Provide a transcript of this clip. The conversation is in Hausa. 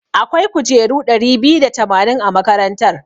Akwai kujeru ɗari biyu da tamanin a makarantar.